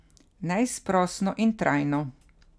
Neizprosno in trajno.